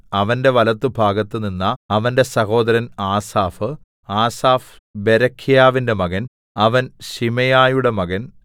അവന്റെ വലത്തുഭാഗത്ത് നിന്ന അവന്റെ സഹോദരൻ ആസാഫ് ആസാഫ് ബെരെഖ്യാവിന്റെ മകൻ അവൻ ശിമെയയുടെ മകൻ